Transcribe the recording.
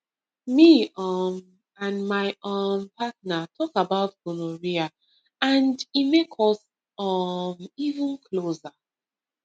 me um and my um partner talk about gonorrhea and e make us um even closer